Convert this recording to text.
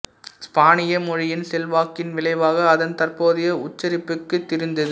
ஸ்பானிய மொழியின் செல்வாக்கின் விளைவாக அதன் தற்போதைய உச்சரிப்புக்கு திரிந்தது